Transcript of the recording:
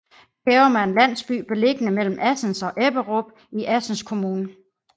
Kærum er en landsby beliggende mellem Assens og Ebberup i Assens Kommune